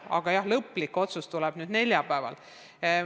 Aga jah, lõplik otsus tuleb neljapäeval.